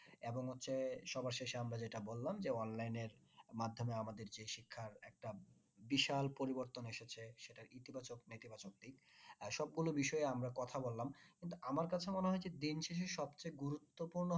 এবং হচ্ছে সবার শেষে আমরা যেটা বললাম যে online এর মাধ্যমে আমাদের যে শিক্ষার একটা বিশাল পরিবর্তন এসেছে সেটা ইতি বাচক নীতি বাচক আহ সম্পূর্ণ বিষয়ে আমরা কথা বললাম কিন্তু আমার কাছে মনে হয়েছে দিন শেষে সবচেয়ে গুরুত্বপূর্ণ